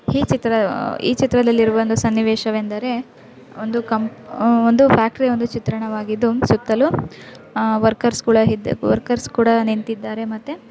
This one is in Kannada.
ಈ ಚಿತ್ರ ಈ ಚಿತ್ರದಲ್ಲಿ ಇರುವ ಒಂದು ಸನ್ನಿವೇಶವೆಂದರೆ ಒಂದು ಕಂಪ್ ಒಂದು ಫ್ಯಾಕ್ಟರಿ ಒಂದು ಚಿತ್ರಣವಾಗಿದ್ದು ಸುತ್ತಲೂ ವರ್ಕರ್ಸ್ಗಳ ವರ್ಕರ್ಸ್ ಕೂಡ ನಿಂತಿದ್ದಾರೆ ಮತ್ತೆ--